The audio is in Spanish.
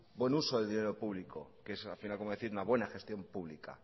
buen uso del dinero público que es al final como decir una buena gestión pública